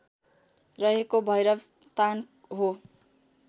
रहेको भैरवस्थान हो